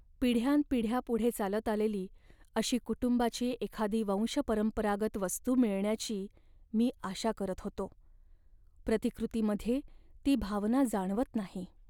पिढ्यानपिढ्या पुढे चालत आलेली अशी कुटुंबाची एखादी वंशपरंपरागत वस्तू मिळण्याची मी आशा करत होतो. प्रतिकृतीमध्ये ती भावना जाणवत नाही.